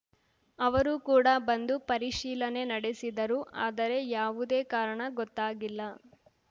ಅವರು ಕೂಡ ಬಂದು ಪರಿಶೀಲನೆ ನಡೆಸಿದರು ಆದರೆ ಯಾವುದೇ ಕಾರಣ ಗೊತ್ತಾಗಿಲ್ಲ